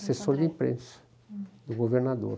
Assessor de imprensa do governador.